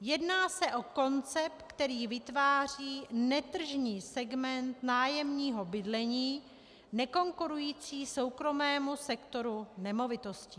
Jedná se o koncept, který vytváří netržní segment nájemního bydlení nekonkurující soukromému sektoru nemovitostí.